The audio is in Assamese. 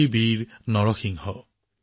হে সাহসী নৰসিংহ